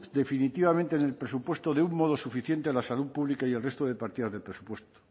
definitivamente en el presupuesto de un modo suficiente a la salud pública y al resto de partidas del presupuesto